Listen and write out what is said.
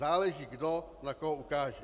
Záleží, kdo na koho ukáže.